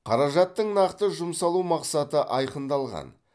қаражаттың нақты жұмсалу мақсаты айқындалған